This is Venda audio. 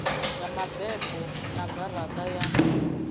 ya mabebo na garaṱa ya